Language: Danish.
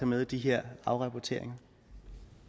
med i de her afrapporteringer